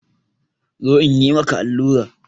Zo in yi maka allura!